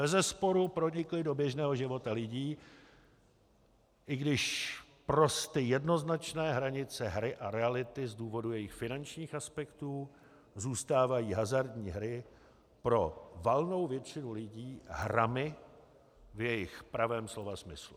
Bezesporu pronikly do běžného života lidí, i když prosty jednoznačné hranice hry a reality z důvodů jejich finančních aspektů zůstávají hazardní hry pro valnou většinu lidí hrami v jejich pravém slova smyslu.